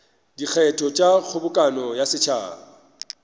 dikgetho tša kgobokano ya setšhaba